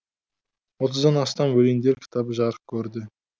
отыздан астам өлеңдер кітабы жарық көрді